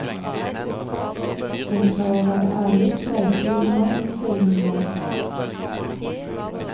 Men skal jeg være ærlig, streifer de meg en sjelden gang.